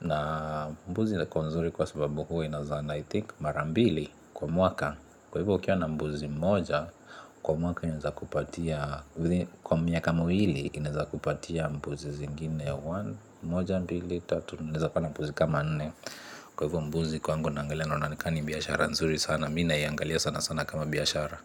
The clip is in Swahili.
Na mbuzi inakuwa nzuri kwa sababu huu inazaana I think mara mbili kwa mwaka. Kwa hivyo ukiwa na mbuzi mmoja, kwa mwaka inawezakupatia. Kwa miaka miwili inaweza kupatia mbuzi zingine one moja mbili tatu nne unaweza kuwa na mbuzi kama nne, kwahivyo mbuzi kwangukwa miaka miwili inaweza kupatia mbuzi zingine one moja mbili tatu nne unaweza kuwa na mbuzi kama nne, kwahivyo mbuzi kwangu mbwa naangalia naona kama ni biashara nzuri sana mimi naiangalia sana sana kama biashara.